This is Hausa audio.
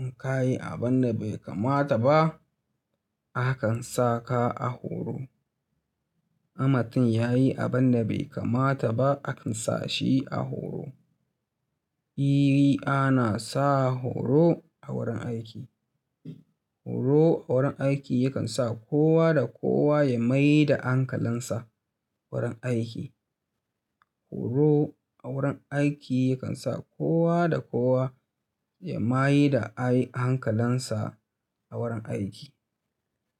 In ka yi abin da bai kamata ba, akan sa ka a horo. In mutun ya yi abin da bai kamata ba akan sa shi a horo. Eh, ana sa horo a wurin aiki. Horo a wurin aiki yakan sa kowa da kowa ya mai da ankalinsa wurin aiki. Horo a wurin aiki yakan sa kowa da kowa ya mai da a hankalisa a wurin aiki.